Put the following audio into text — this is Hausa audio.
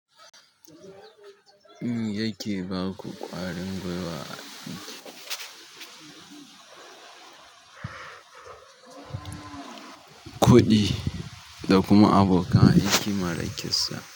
Yake baku ƙwarin gwiwa, kuɗi da kuma abokan aiki marar ƙissa.